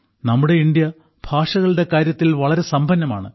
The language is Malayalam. നമ്മുടെ ഇന്ത്യ ഭാഷകളുടെ കാര്യത്തിൽ വളരെ സമ്പന്നമാണ്